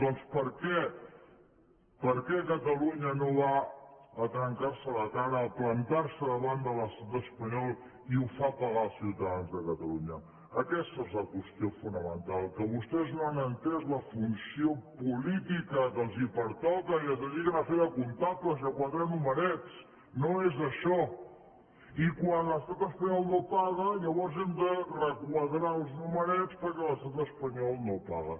doncs per què per què catalunya no va a trencar se la cara a plantar se davant de l’estat espanyol i ho fa pagar als ciutadans de catalunya aquesta és la qüestió fonamental que vostès no han entès la funció política que els pertoca i es dediquen a fer de comptables i a quadrar numerets no és això i quan l’estat espanyol no paga llavors hem de requadrar els numerets perquè l’estat espanyol no paga